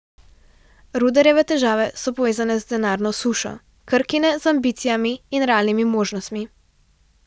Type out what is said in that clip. Rudarjeve težave so povezane z denarno sušo, Krkine z ambicijami in realnimi možnostmi.